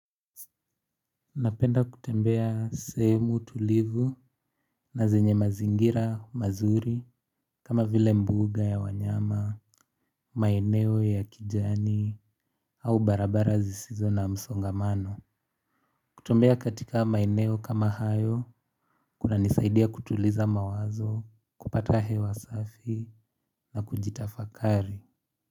Napenda kutembea semu tulivu na zenye mazingira mazuri kama vile mbuuga ya wanyama, maeneo ya kijani au barabara zisizo na msongamano. Kutombea katika maeneo kama hayo kuna nisaidia kutuliza mawazo, kupata he wa safi na kujitafakari.